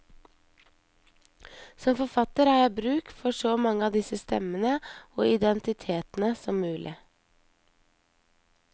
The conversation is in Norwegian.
Som forfatter har jeg bruk for så mange av disse stemmene og identitetene som mulig.